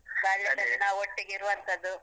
ಬಾಲ್ಯದಲ್ಲಿ ನಾವು ಒಟ್ಟಿಗಿರುವಂತದ್ದು.